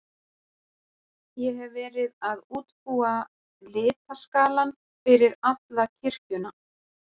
Ég hefi verið að útbúa litaskalann fyrir alla kirkjuna.